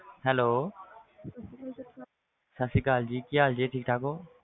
Hello ਸਤਿ ਸ੍ਰੀ ਅਕਾਲ ਜੀ ਠੀਕ ਠਾਕ ਹੋ,